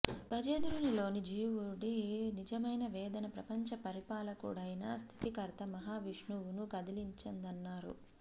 గజేంద్రునిలోని జీవుడి నిజమైన వేదన ప్రపంచ పరిపాలకుడైన స్థితికర్త మహావిష్ణువును కదిలించిందన్నారు